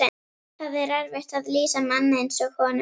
Það er erfitt að lýsa manni eins og honum.